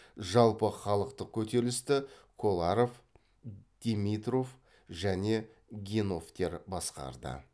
жалпыхалықтық көтерілісті коларов демитров және геновтер басқарды